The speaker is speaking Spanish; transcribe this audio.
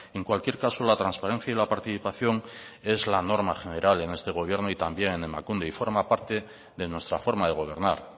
en cualquier caso la transparencia y la participación es la norma general en este gobierno y también en emakunde y forma parte de nuestra forma de gobernar